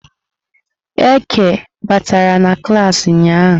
Eke batara na klas ụnyahụ?